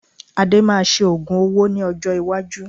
Ade máa ṣe ogún owó ní ọjọ́ iwájú